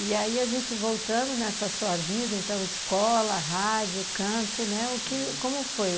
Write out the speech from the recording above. E aí a gente voltando nessa sua vida, então escola, rádio, canto, né, o que, como foi?